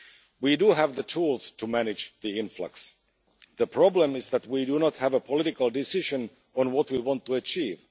We have the tools to manage the influx the problem is that we do not have a political decision on what we want to achieve.